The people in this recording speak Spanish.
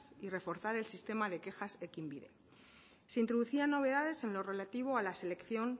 y reforzar el sistema de quejas ekinbide se introducían novedades en lo relativo a la selección